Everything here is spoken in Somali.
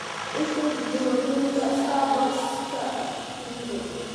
i tus jihooyinka starbucks-ka kuugu dhow